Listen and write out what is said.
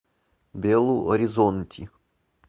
белу оризонти